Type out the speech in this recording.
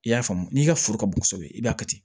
I y'a faamu n'i ka foro ka bon kosɛbɛ i b'a kɛ ten